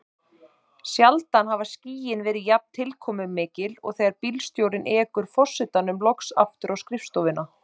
Sjaldan hafa skýin verið jafn tilkomumikil og þegar bílstjórinn ekur forsetanum loks aftur á skrifstofuna.